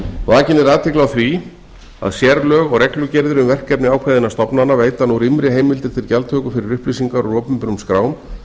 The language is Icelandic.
vakin er athygli á því að sérlög og reglugerðir um verkefni ákveðinna stofnana veita nú rýmri heimildir til gjaldtöku fyrir upplýsingar úr opinberum skrám